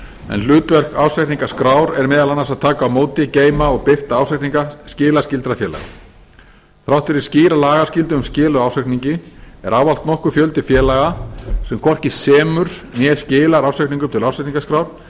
en hlutverk ársreikningaskrár er meðal annars að taka á móti geyma og birta ársreikninga skilaskyldra félaga þrátt fyrir skýra lagaskyldu um skil á ársreikningi er ávallt nokkur fjöldi félaga sem hvorki semur né skilar ársreikningum til ársreikningaskrár en samkvæmt